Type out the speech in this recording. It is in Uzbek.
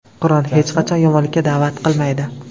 Qur’on hech qachon yomonlikka da’vat qilmaydi.